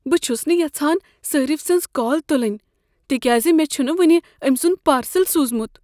بہٕ چھس نہٕ یژھان صٲرِف سٕنٛز کال تلٕنۍ تکیاز مےٚ چھنہٕ وٕنہِ أمۍ سنٛد پارسل سوٗزمت۔